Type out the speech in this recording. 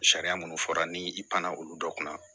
Sariya minnu fɔra ni i pan na olu dɔ kunna